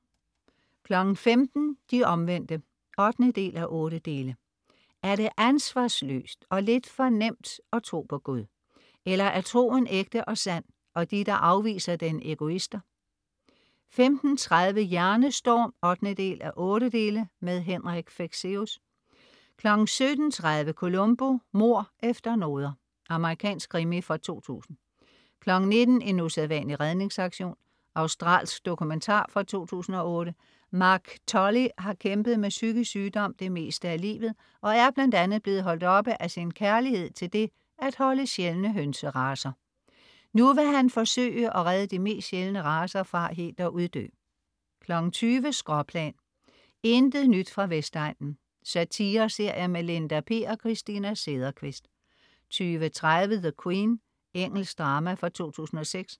15.00 De Omvendte 8:8. Er det ansvarsløst og lidt for nemt at tro på Gud? Eller er troen ægte og sand, og de der afviser den, egoister? 15.30 Hjernestorm 8:8. Henrik Fexeus 17.30 Columbo: Mord efter noder. Amerikansk krimi fra 2000 19.00 En usædvanlig redningsaktion. Australsk dokumentar fra 2008. Mark Tully har kæmpet med psykisk sygdom det meste af livet, og er bl.a. blevet holdt oppe af sin kærlighed til det, at holde sjældne hønseracer. Nu vil han forsøge at redde de mest sjældne racer fra helt at uddø 20.00 Skråplan. Intet nyt fra Vestegnen. Satire-serie med Linda P og Christina Sederqvist 20.30 The Queen. Engelsk drama fra 2006